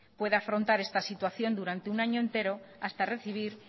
puede afrontar esta situación durante un año entero hasta recibir